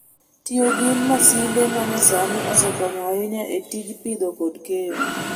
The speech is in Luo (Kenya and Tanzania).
Tiyo gi masinde ma nyasani osekonyo ahinya e tij pidho kod keyo.